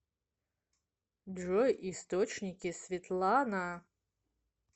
джой источники светлана